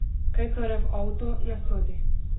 Kaj torej v avto ne sodi?